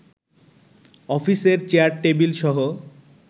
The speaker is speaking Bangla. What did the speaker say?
অফিসের চেয়ার-টেবিলসহ